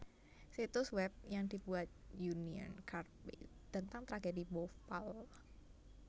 Situs web yang dibuat Union Carbide tentang tragedi Bhopal